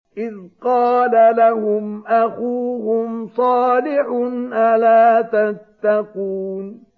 إِذْ قَالَ لَهُمْ أَخُوهُمْ صَالِحٌ أَلَا تَتَّقُونَ